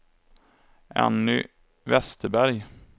Anny Vesterberg